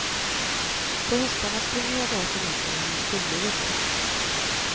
På höstarna springer jag därför mindre än jag skulle vilja.